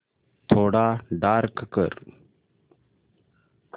थोडा डार्क कर